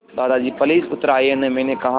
दादाजी प्लीज़ उतर आइये न मैंने कहा